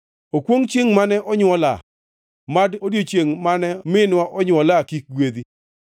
Okwongʼ chiengʼ mane onywola! Mad odiechiengʼ mane minwa onywola kik gwedhi!